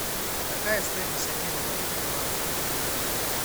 какая стоимость обмена валюты белорусские рубли на гривны